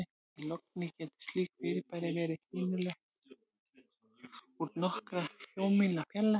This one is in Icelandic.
Í logni gátu slík fyrirbæri verið sýnileg úr nokkurra sjómílna fjarlægð.